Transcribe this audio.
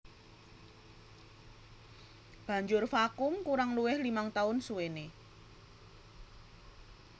Banjur vakum kurang luwih limang taun suwené